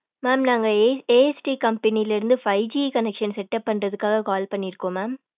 mam நாங்க ASD company லே இருந்து five G connection setup பன்றதுகாக call பண்ணிருகோம் mam.